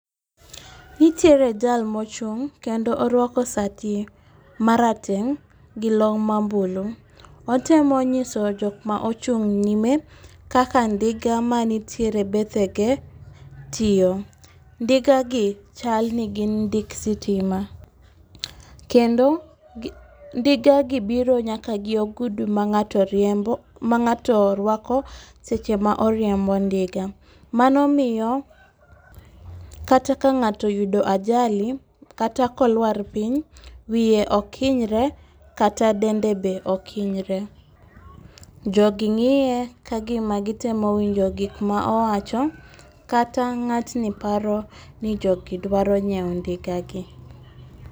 Nitiere jal mochung' kendo orwako sati marateng' gi long' ma mbulu. Otemo nyiso jok ma ochung' nyime kaka ndiga manitiere bethege tiyo. Ndigagi chal ni gin ndik sitima, kendo ndigagi biro nyaka gi ogudu ma ng'ato rwako seche ma oriembo ndiga, mano miyo kata ka ng'ato oyudo ajali kata kolwar piny, wiye ok hinyre kata dende be ok hinyre. Jogi ng'iye ka gima gitemo winjo gika ma owacho, kata ng'atni paro ni jogi dwaro nyiewo ndigagi.